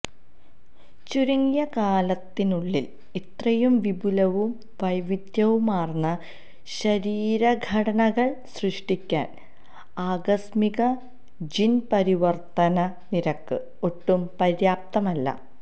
ചുരുങ്ങിയ കാലത്തിനുള്ളില് ഇത്രയും വിപുലവും വൈവിധ്യവുമാര്ന്ന ശരീരഘടനകള് സൃഷ്ടിക്കാന് ആകസ്മിക ജീന് പരിവര്ത്തന നിരക്ക് ഒട്ടും പര്യാപ്തമല്ല